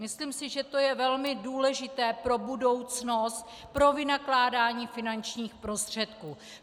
Myslím si, že to je velmi důležité pro budoucnost, pro vynakládání finančních prostředků.